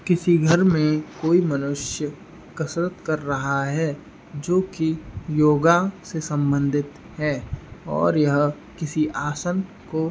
किसी घर में कोई मनुष्य कसरत कर रहा है जो कि योगा से संबंधित है और यह किसी आसन को --